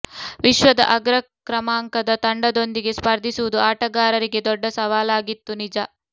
ವಿಶ್ವದ ಅಗ್ರ ಕ್ರಮಾಂಕದ ತಂಡದೊಂದಿಗೆ ಸ್ಪರ್ಧಿಸುವುದು ಆಟಗಾರರಿಗೆ ದೊಡ್ಡ ಸವಾಲಾಗಿತ್ತು ನಿಜ